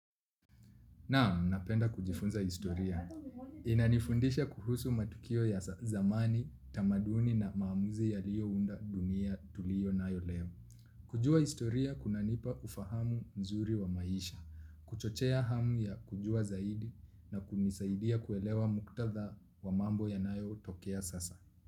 Naam, napenda kujifunza historia. Inanifundisha kuhusu matukio ya zamani, tamaduni na maamuzi yaliyounda dunia tuliyo nayo leo. Kujua historia, kunanipa ufahamu mzuri wa maisha. Kuchochea hamu ya kujua zaidi na kunisaidia kuelewa muktadha wa mambo yanayo tokea sasa.